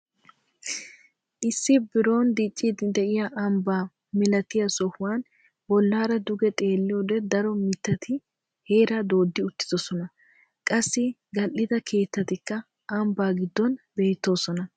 Issi biron dicciidi de'iyaa ambbaa milatiyaa sohuwaan bollaara duge xeelliyoode daro mittati heeraa dooddi uttidoosona. qassi gal"ida keettatikka ambbaa giddon beettoosona.